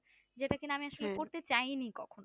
যেটা কিনা আমি আসলে করতে চাইনি কখনো,